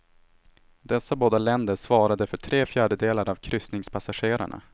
Dessa båda länder svarade för tre fjärdedelar av kryssningspassagerarna.